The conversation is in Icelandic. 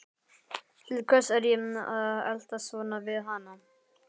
Til hvers er ég að eltast svona við hana?